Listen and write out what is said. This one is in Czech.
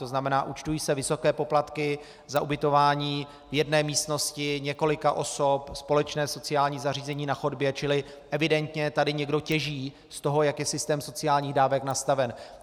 To znamená, účtují se vysoké poplatky za ubytování v jedné místnosti několika osob, společné sociální zařízení na chodbě, čili evidentně tady někdo těží z toho, jak je systém sociálních dávek nastaven.